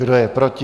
Kdo je proti?